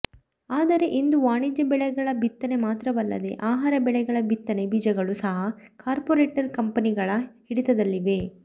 ಆದರೆ ಇಂದು ವಾಣಿಜ್ಯ ಬೆಳೆಗಳ ಬಿತ್ತನೆ ಮಾತ್ರವಲ್ಲದೆ ಆಹಾರ ಬೆಳೆಗಳ ಬಿತ್ತನೆ ಬೀಜಗಳೂ ಸಹ ಕಾರ್ಪೊರೇಟ್ ಕಂಪೆನಿಗಳ ಹಿಡಿತದಲ್ಲಿವೆ